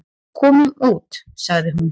"""Komum út, sagði hún."""